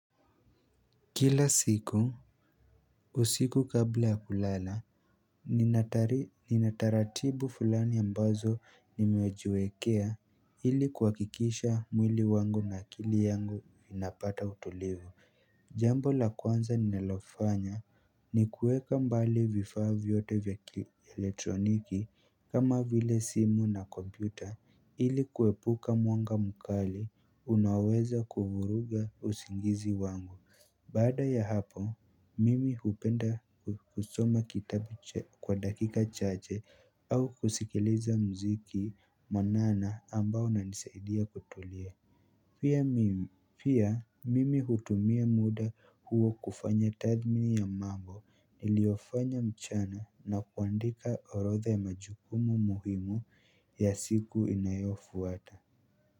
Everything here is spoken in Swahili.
Kila siku, usiku kabla ya kulala, nina taratibu fulani ambazo nimejiwekea ili kuhakikisha mwili wangu na akili yangu vinapata utulivu Jambo la kwanza ninalofanya ni kuweka mbali vifaa vyote vya kielektroniki kama vile simu na kompyuta ili kuepuka mwanga mkali unaoweza kuvuruga usingizi wangu baada ya hapo mimi hupenda kusoma kitabu kwa dakika chache au kusikiliza muziki mwanana ambao una nisaidia kutulia pia mimi hutumia muda huo kufanya tathmini ya manbo niliofanya mchana na kuandika orotha ya majukumu muhimu ya siku inayofuata.